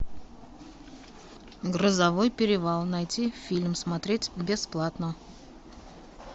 грозовой перевал найти фильм смотреть бесплатно